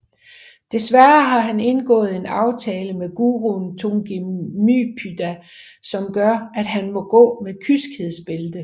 Dessværre har han indgået en aftale med guruen Tugginmypudha som gør at han må gå med kyskhedsbælte